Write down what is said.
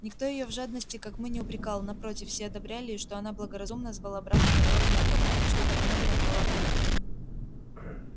никто её в жадности как мы не упрекал напротив все одобряли и что она благоразумно звала брата на торную тропу и что так много набрала клюквы